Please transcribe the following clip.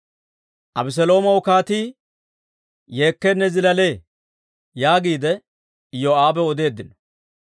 «Abeseloomaw kaatii yeekkeenne zilaalee» yaagiide Iyoo'aabaw odeeddino.